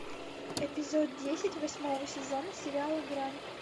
эпизод десять восьмого сезона сериала грань